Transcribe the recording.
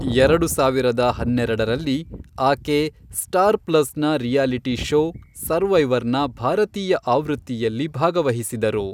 ಎರಡು ಸಾವಿರದ ಹನ್ನೆರಡರಲ್ಲಿ, ಆಕೆ ಸ್ಟಾರ್ ಪ್ಲಸ್ನ ರಿಯಾಲಿಟಿ ಷೋ ಸರ್ವೈವರ್ನ ಭಾರತೀಯ ಆವೃತ್ತಿಯಲ್ಲಿ ಭಾಗವಹಿಸಿದರು.